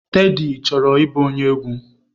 Teddy chọrọ ịbụ onye egwu.